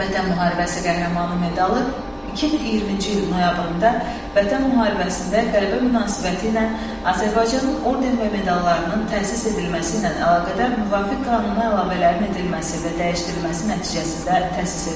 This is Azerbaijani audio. Vətən Müharibəsi Qəhrəmanı medalı 2020-ci il noyabrında Vətən müharibəsində qələbə münasibətilə Azərbaycanın orden və medallarının təsis edilməsi ilə əlaqədar müvafiq qanuna əlavələrin edilməsi və dəyişdirilməsi nəticəsində təsis edilib.